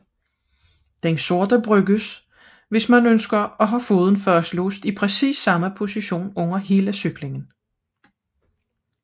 Den sorte benyttes hvis man ønsker foden fastlåst i præcis samme position under hele cyklingen